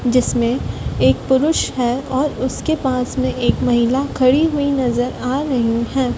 जिसमें एक पुरुष हें और उसके पास में एक महिला खड़ी हुई नजर आ रही है।